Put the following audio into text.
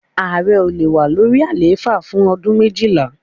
Ààrẹ ò le wà lórí àlééfà fún ọdún méjìlá.